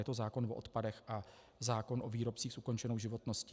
Je to zákon o odpadech a zákon o výrobcích s ukončenou životností.